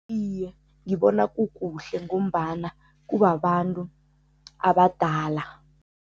Iye, ngibona kukuhle ngombana kubabantu abadala.